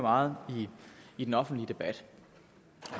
meget i den offentlige debat